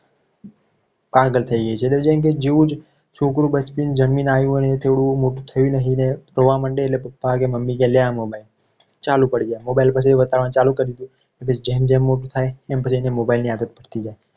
પાગલ થઈ છે. જેમ કે જેવું જ છોકરું જન્મીને આવી હોય ને એ થોડું મોટું થઈ રહ્યું અને રોવા મંડે એટલે પપ્પા કે મમ્મી લે. આ mobile ચાલુ પડી જા mobile પર video બતાવવાનું ચાલુ કરી દીધું. પછી જેમ જેમ મોટું થાય. એને પછી mobile આદત પડી જાય.